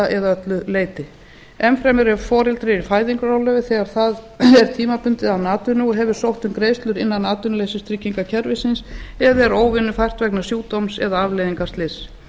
eða öllu leyti enn fremur er foreldri í fæðingarorlofi þegar það er tímabundið án atvinnu og hefur sótt um greiðslur innan atvinnuleysistryggingakerfisins eða er óvinnufært vegna sjúkdóms eða afleiðinga slyss